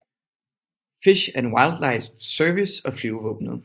Fish and Wildlife Service og flyvevåbenet